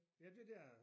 Ja det der